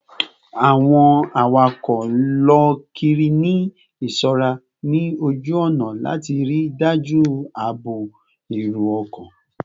Awọn awakọ n lọ kiri ni iṣọra ni oju ọna lati rii daju aabo ero-ọkọ